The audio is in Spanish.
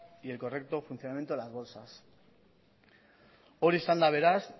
y el correcto funcionamiento de las bolsas hori izan da beraz